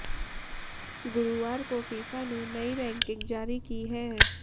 गुरुवार को फीफा ने नई रैंकिंग जारी की है